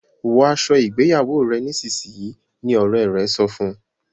wò aṣọ ìgbéyàwó rẹ nísìsiyìí! ní òré rẹ sọfún.